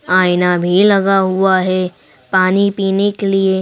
आईना भी लगा हुआ है पानी पीने के लिए।